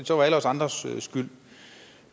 så alle os andres skyld